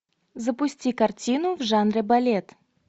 запусти картину в жанре балет